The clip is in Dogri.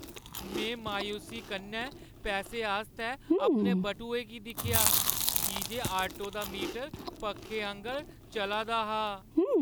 में मायूसी कन्नै पैसे आस्तै अपने बटुए गी दिक्खेआ की जे आटो दा मीटर पक्खे आंह्गर चला दा हा।